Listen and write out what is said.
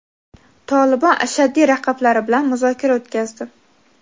"Tolibon" ashaddiy raqiblari bilan muzokara o‘tkazdi.